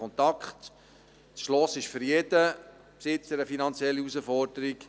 Ein Schloss ist für jeden Besitzer eine finanzielle Herausforderung.